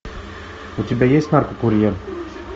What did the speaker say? у тебя есть наркокурьер